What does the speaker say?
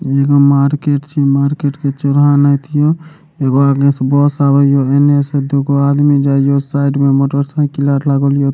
एगो मार्केट छै मार्केट के चौराहा एगो आगे से बस आवे या एने से दुगो आदमी जाय यो साइड में मोटर साइकिल आर लागल हिय।